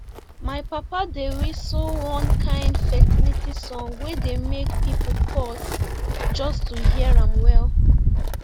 my papa dey whistle one kind fertility song wey dey make people pause just to hear am well